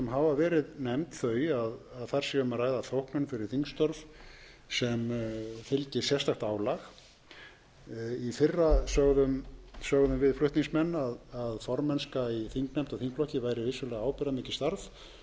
hafa verið nefnd þau að þar sé um að ræða þóknun fyrir þingstörf sem fylgi sérstakt álag í fyrra sögðum við flutningsmenn að formennska í þingnefnd og þingflokki væri vissulega ábyrgðarmikið starf og teljum það enn